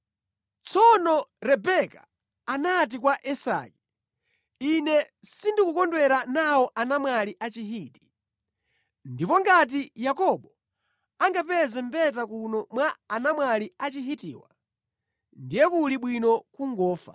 Tsono Rebeka anati kwa Isake, “Ine sindikukondwera nawo anamwali a Chihiti. Ndipo ngati Yakobo angapeze mbeta kuno mwa anamwali a Chihitiwa, ndiye kuli bwino kungofa.”